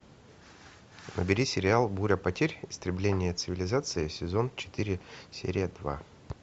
набери сериал буря потерь истребление цивилизации сезон четыре серия два